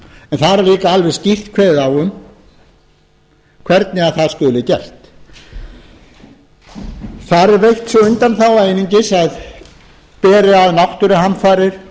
en þar er líka alveg skýrt kveðið á um hvernig það skuli gert þar er veitt sú undanþága einungis að beri að náttúruhamfarir